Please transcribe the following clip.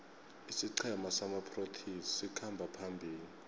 isiqhema samaproteas sikhamba phambili